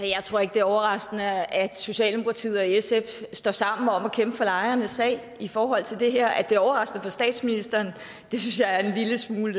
det er overraskende at socialdemokratiet og sf står sammen om at kæmpe for lejernes sag i forhold til det her at det er overraskende for statsministeren synes jeg er en lille smule